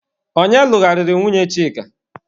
Ọnye lụgharịrị nwunye Chika?